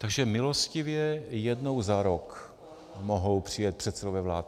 Takže milostivě jednou za rok mohou přijet předsedové vlád.